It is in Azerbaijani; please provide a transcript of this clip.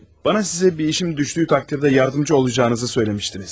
Mənə sizə bir işim düşdüyü təqdirdə yardımcı olacağınızı söyləmişdiniz.